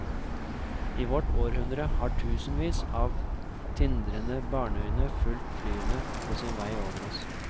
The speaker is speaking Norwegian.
I vårt århundre har tusenvis av tindrende barneøyne fulgt flyene på sin vei over oss.